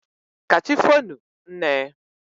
ka chi foonu, nne.